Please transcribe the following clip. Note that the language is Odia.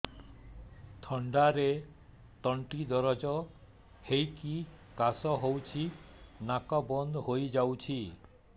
ଥଣ୍ଡାରେ ତଣ୍ଟି ଦରଜ ହେଇକି କାଶ ହଉଚି ନାକ ବନ୍ଦ ହୋଇଯାଉଛି